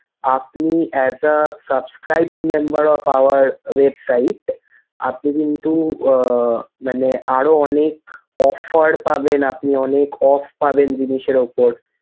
আপনি as a subscribed member of our website আপনি কিন্তু আহ মানে আরো অনেক offer পাবেন আপনি অনেক off পাবেন জিনিসের উপর।